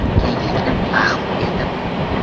Kenglikni mahv etib!